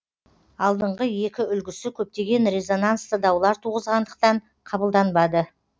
алдыңғы екі үлгісі көптеген резонансты даулар туғызғандықтан қабылданбады